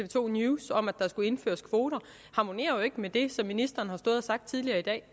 to news om at der skulle indføres kvoter harmonerer jo ikke med det som ministeren har stået og sagt tidligere i dag